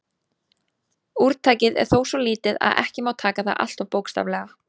Úrtakið er þó svo lítið að ekki má taka það alltof bókstaflega.